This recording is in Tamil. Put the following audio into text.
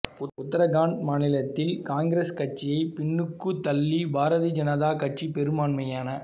உத்தரகாண்ட் மாநிலத்தில் ஆளும் காங்கிரஸ் கட்சியை பின்னுக்கு தள்ளி பாரதியஜனதா கட்சி பெரும்பான்மையான